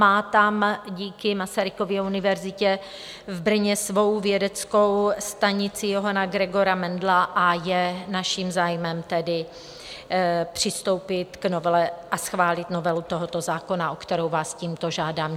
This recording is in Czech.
Má tam díky Masarykově univerzitě v Brně svou vědeckou stanici Johanna Gregora Mendela, a je naším zájmem tedy přistoupit k novele a schválit novelu tohoto zákona, o kterou vás tímto žádám.